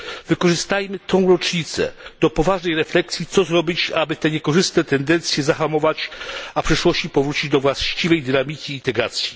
Wykorzystajmy tę rocznicę do poważnej refleksji, co zrobić, aby te niekorzystne tendencje zahamować, a w przyszłości powrócić do właściwej dynamiki integracji.